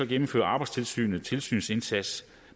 gennemfører arbejdstilsynet en tilsynsindsats